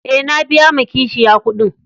E, na biya ma kashiya kuɗin.